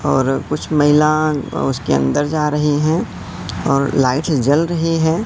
और कुछ महिलां ओ उसके अंदर जा रही हैं और लाइट जल रही हैं।